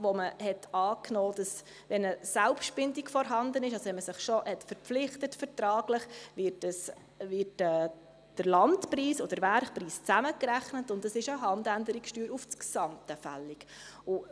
Dort nahm man an, dass, wenn eine Selbstbindung vorhanden ist, man sich also vertraglich bereits verpflichtet hatte, der Landpreis und der Werkpreis zusammenzurechnen seien und eine Handänderungssteuer auf das Gesamte fällig sei.